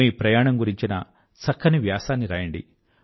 మీ ప్రయాణం గురించిన చక్కని వ్యాసాన్ని రాయండి